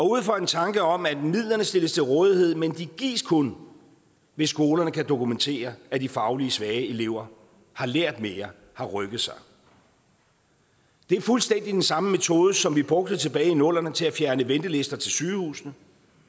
ud fra en tanke om at midlerne stilles til rådighed men de gives kun hvis skolerne kan dokumentere at de fagligt svage elever har lært mere har rykket sig det er fuldstændig den samme metode som vi brugte tilbage i nullerne til at fjerne ventelister til sygehusene